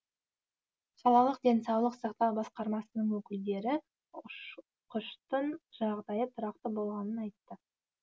қалалық денсаулық сақтау басқармасының өкілдері ұшқыштың жағдайы тұрақты болғанын айтты